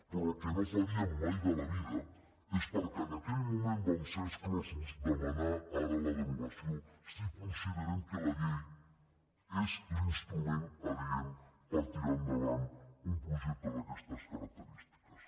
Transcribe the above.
però el que no faríem mai de la vida és perquè en aquell moment en vam ser exclosos demanar ne ara la derogació si considerem que la llei és l’instrument adient per tirar endavant un projecte d’aquestes característiques